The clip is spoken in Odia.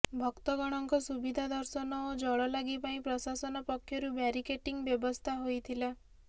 ଭକ୍ତଗଣଙ୍କ ସୁବିଧା ଦର୍ଶନ ଓ ଜଳଲାଗି ପାଇଁ ପ୍ରଶାସନ ପକ୍ଷରୁ ବ୍ୟାରିକେଟିଂର ବ୍ୟବସ୍ଥା ହୋଇଥିଲା